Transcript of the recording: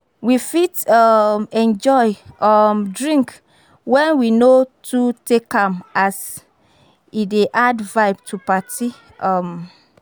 We fit um enjoy um drink when we no too take am as e dey add vibe to party um